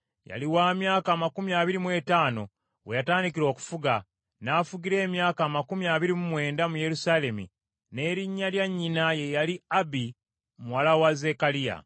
Yali wa myaka amakumi abiri mu etaano, we yatandikira okufuga, n’afugira emyaka amakumi abiri mu mwenda mu Yerusaalemi, n’erinnya lya nnyina ye yali Abi muwala wa Zekkaliya.